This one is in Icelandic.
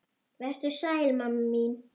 Vertu sæl mamma mín.